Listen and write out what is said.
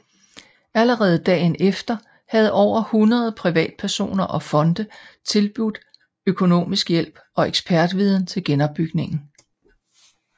Allerede dagen efter havde over 100 privatpersoner og fonde tilbudt økonomisk hjælp og ekspertviden til genopbygningen